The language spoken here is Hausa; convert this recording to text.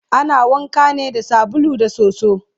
ana wanka ne da sabulu da soso